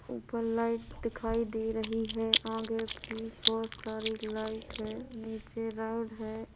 ऊपर लाइट दिखाई दे रही हैं आगे भी बहोत सारी लाइट हैं नीचे रेड हैं।